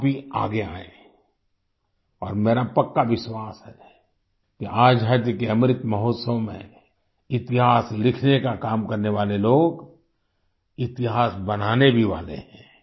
आप भी आगे आयें और मेरा पक्का विश्वास है कि आजादी के अमृत महोत्सव में इतिहास लिखने का काम करने वाले लोग इतिहास बनाने भी वाले हैं